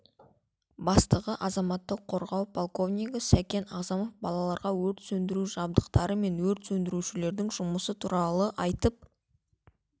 бастығы азаматтық қорғау подполковнигі сәкен ағзамов балаларға өрт сөндіру жабдықтары мен өрт сөндірушілердің жұмысы туралы айтып